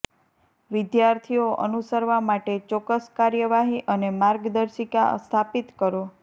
વિદ્યાર્થીઓ અનુસરવા માટે ચોક્કસ કાર્યવાહી અને માર્ગદર્શિકા સ્થાપિત કરો